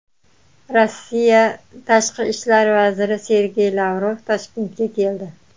Rossiya tashqi ishlar vaziri Sergey Lavrov Toshkentga keldi.